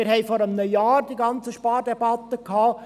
Wir haben vor einem Jahr die ganzen Spardebatten gehabt.